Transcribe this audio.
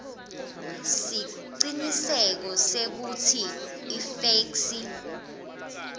siciniseko sekutsi ifeksi